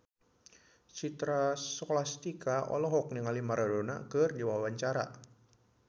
Citra Scholastika olohok ningali Maradona keur diwawancara